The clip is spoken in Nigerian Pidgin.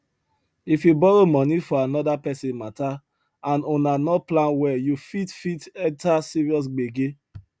if you borrow money for another person matter and una no plan well you fit fit enter serious gbege